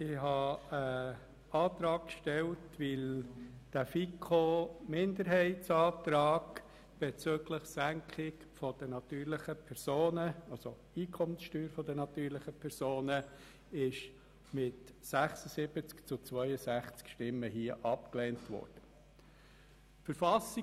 Ich habe einen Antrag gestellt, weil der FiKo-Minderheitsantrag bezüglich der Einkommenssteuersenkung der natürlichen Personen hier mit 76 zu 62 Stimmen abgelehnt worden ist.